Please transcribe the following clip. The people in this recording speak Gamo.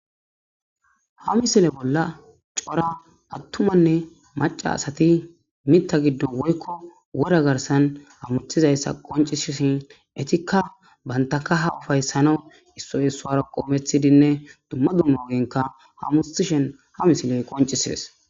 Ha misile bolla cora attumanne macca asati mitta giddon woykko wora garssan hamutizayssa qonccisishin ettikka banta kaha ufaysanaw issoy qoreththidinne dumma dumma ogera hamuttishin ha misiley qonccises.